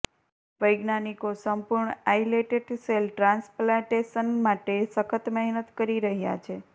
વૈજ્ઞાનિકો સંપૂર્ણ islet cell transplantation માટે સખત મહેનત કરી રહ્યા છે